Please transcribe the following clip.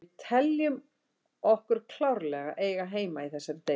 Við teljum okkur klárlega eiga heima í þessari deild.